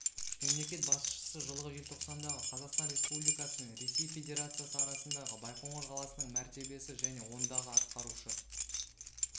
мемлекет басшысы жылғы желтоқсандағы қазақстан республикасы мен ресей федерациясы арасындағы байқоңыр қаласының мәртебесі және ондағы атқарушы